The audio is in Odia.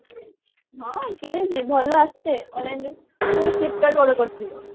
ହଁ କିଣିଛି ଭଲ ଆସେ online ରେ ପୁଣି flipkart ରୁ order କରିଥିଲି